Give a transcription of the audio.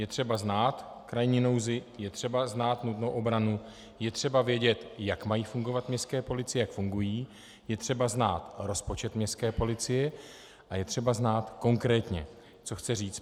Je třeba znát krajní nouzi, je třeba znát nutnou obranu, je třeba vědět, jak mají fungovat městské policie, jak fungují, je třeba znát rozpočet městské policie a je třeba znát konkrétně, co chce říct.